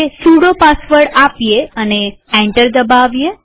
sudo password આપીએ અને enter દબાવીએ